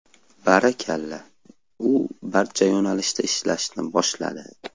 Barakalla, u barcha yo‘nalishda ishlashni boshladi.